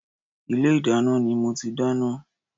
Ilé ìdáná ni mo ti dáná